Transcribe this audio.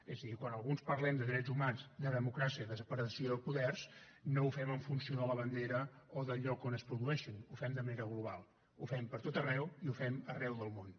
és a dir quan alguns parlem de drets humans de democràcia i de separació de poders no ho fem en funció de la bandera o del lloc on es produeixin ho fem de manera global ho fem per a tot arreu i ho fem arreu del món